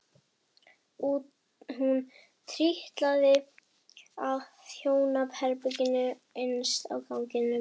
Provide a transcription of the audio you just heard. Hún trítlaði að hjónaherberginu innst á ganginum.